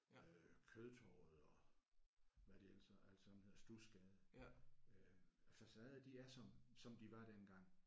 Øh Kødtorvet og hvad de ellers hedder alt sammen hedder Studsgade øh facaderne de er som som de var dengang